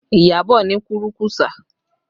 Iyabọ̀ ni kúrú-kùsà